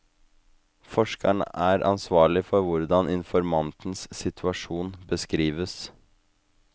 Forskeren er ansvarlig for hvordan informantens situasjon beskrives.